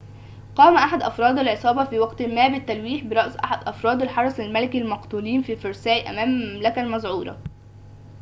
قام أحد أفراد العصابة في وقت ما بالتلويح برأس أحد أفراد الحرس الملكي المقتولين في فرساي أمام الملكة المذعورة